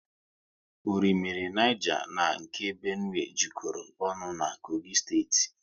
Orimmiri Niger na nke Benue jekoro ọnụ na Kogi steeti